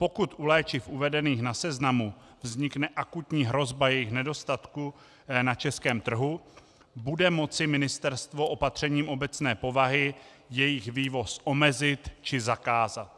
Pokud u léčiv uvedených na seznamu vznikne akutní hrozba jejich nedostatku na českém trhu, bude moci ministerstvo opatřením obecné povahy jejich vývoz omezit či zakázat.